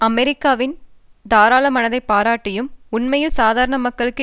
அமெரிக்காவின் தாராள மனதை பாராட்டியும் உண்மையில் சாதாரண மக்களுக்கு